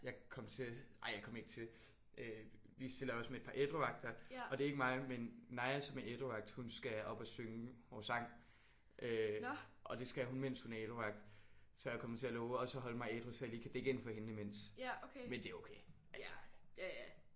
Jeg kom til ej jeg kom ikke til øh vi stiller også med et par ædruvagter og det er ikke mig. Men Naja som er ædruvagt hun skal op og synge vores sang øh og det skal hun mens hun er ædruvagt. Så jeg kom til at love også at holde mig ædru så jeg lige kan dække ind for hende imens. Men det er okay altså